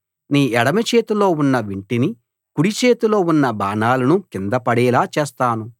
నీ ఎడమ చేతిలో ఉన్న వింటిని కుడిచేతిలో ఉన్న బాణాలను కింద పడేలా చేస్తాను